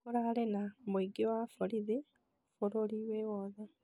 Kũrarĩ na mũingĩ wa borithi bũrũri wĩwothe